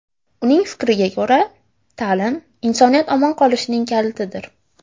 Uning fikriga ko‘ra, ta’lim insoniyat omon qolishining kalitidir.